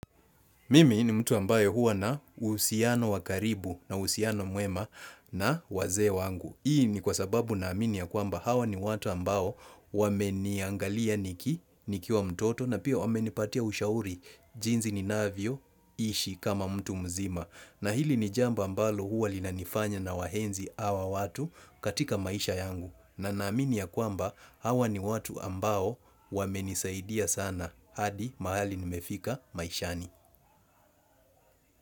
Mimi ni mtu ambaye huwa na uhusiano wa karibu na uhusiano mwema na wazee wangu. Hii ni kwasababu naamini ya kwamba hawa ni watu ambao wameniangalia nikiwa mtoto na pia wamenipatia ushauri jinsi ninavyoishi kama mtu mzima. Na hili ni jambo ambalo huwa linanifanya nawaenzi hawa watu katika maisha yangu na naamini ya kwamba hawa ni watu ambao wamenisaidia sana hadi mahali nimefika maishani.